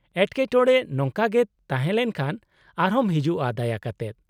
-ᱮᱴᱠᱮᱴᱚᱬᱮ ᱱᱚᱝᱠᱟᱜᱮ ᱛᱟᱦᱮᱸ ᱞᱮᱱᱠᱷᱟᱱ ᱟᱨᱦᱚᱸᱢ ᱦᱤᱡᱩᱜᱼᱟ ᱫᱟᱭᱟ ᱠᱟᱛᱮᱫ ᱾